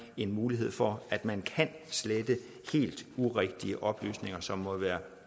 en mulighed for at man kan slette helt urigtige oplysninger som måtte være